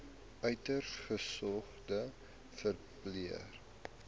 uiters gesogde verpleër